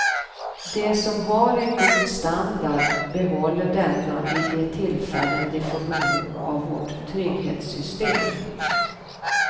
De som har en god standard behåller denna vid de tillfällen de får behov av vårt trygghetssystem.